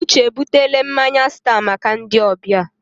Uche ebutele mmanya stat maka ndị ọbịa.